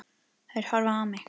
Þær horfa á mig.